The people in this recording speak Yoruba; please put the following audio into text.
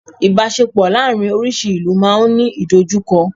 Ibaṣepọ láàrin orísi ìlú ma n Ni idojukọ